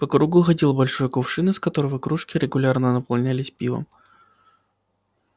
по кругу ходил большой кувшин из которого кружки регулярно наполнялись пивом